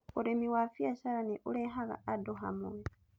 Ũrĩmi wa biacara nĩ ũrehaga andũ hamwe